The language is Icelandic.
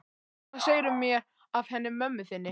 Hvað segirðu mér af henni mömmu þinni?